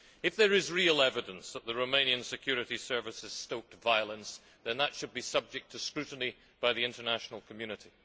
If there is real evidence that the Romanian Security Service has stoked violence, then that should be subject to scrutiny by the international community.